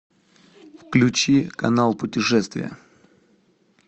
включи канал путешествия